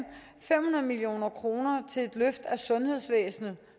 fem hundrede million kroner til et løft af sundhedsvæsenet